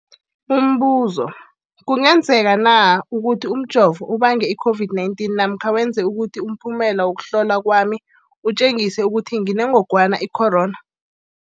Umbuzo, kungenzekana ukuthi umjovo ubange i-COVID-19 namkha wenze ukuthi umphumela wokuhlolwa kwami utjengise ukuthi nginengogwana i-corona?